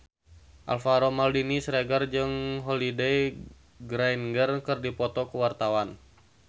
Alvaro Maldini Siregar jeung Holliday Grainger keur dipoto ku wartawan